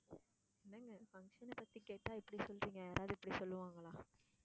என்னங்க function அ பத்தி கேட்டா இப்படி சொல்றீங்க? யாராது இப்படி சொல்லுவாங்களா?